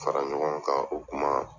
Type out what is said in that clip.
Fara ɲɔgɔn kan o kuma.